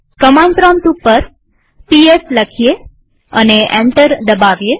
command prompt ઉપર PS લખીએ અને એન્ટર દબાવીએ